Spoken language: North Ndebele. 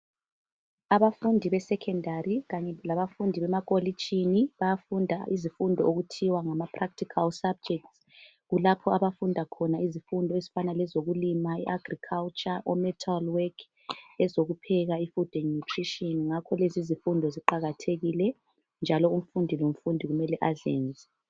Abafundi be secondary kanye labafundi bemakolitshini bayafunda izifundo okuthiwa ngamapractical subjects , kulapho abafunda khona izifundo zokulima i agriculture ometal work , ezokupheka I food and nutrition ngakho ke lezizifundo ziqakathekile njalo umfundi lomfundi kumele azenze